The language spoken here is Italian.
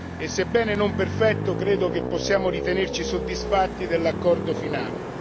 ma, sebbene non perfetto, credo che possiamo ritenerci soddisfatti dell'accordo finale.